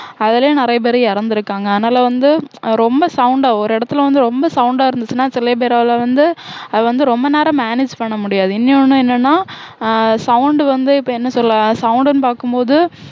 அதுலயும் நிறைய பேர் இறந்திருக்காங்க அதனால வந்து ரொம்ப sound அ ஒரு இடத்துல வந்து ரொம்ப சவுண்டா இருந்துச்சுன்னா சில பேரால வந்து அது வந்து ரொம்ப நேரம் manage பண்ண முடியாது இன்யொன்னு என்னன்னா அஹ் sound வந்து இப்ப என்ன சொல்ல sound ன்னு பாக்கும்போது